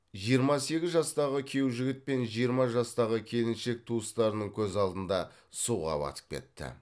жиырма сегіз жастағы күйеу жігіт пен жиырма жастағы келіншек туыстарының көз алдында суға батып кетті